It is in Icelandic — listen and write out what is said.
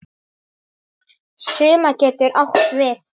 Summa getur átt við